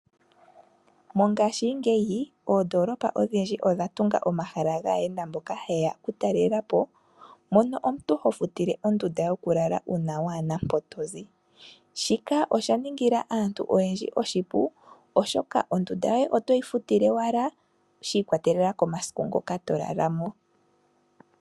Mongaashi ngeyi oondolopa odhindji odha tunga omahala gaayenda mboka hayeya okutalela po mono omuntu ho futile ondunda yoku lala uuna wana mpoka tozi shika osha ningila aantu oyendji oshipu oshoka ondunda yoye oto yi futile owala shi ikwatelela komasiku ngoka to lala mo.